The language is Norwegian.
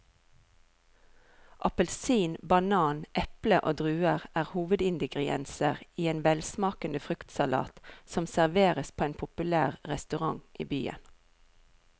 Appelsin, banan, eple og druer er hovedingredienser i en velsmakende fruktsalat som serveres på en populær restaurant i byen.